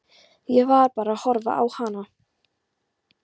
Ég var bara að horfa á hana.